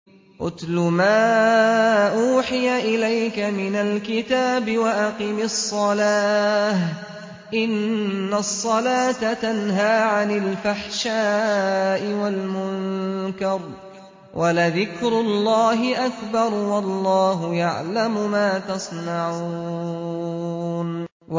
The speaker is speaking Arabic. اتْلُ مَا أُوحِيَ إِلَيْكَ مِنَ الْكِتَابِ وَأَقِمِ الصَّلَاةَ ۖ إِنَّ الصَّلَاةَ تَنْهَىٰ عَنِ الْفَحْشَاءِ وَالْمُنكَرِ ۗ وَلَذِكْرُ اللَّهِ أَكْبَرُ ۗ وَاللَّهُ يَعْلَمُ مَا تَصْنَعُونَ